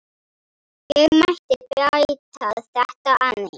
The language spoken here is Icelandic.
Ég mætti bæta þetta aðeins.